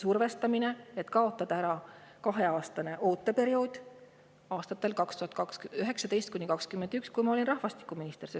Survestamine, et kaotada ära kaheaastane ooteperiood, juhtus aastatel 2019–2021, kui ma olin rahvastikuminister.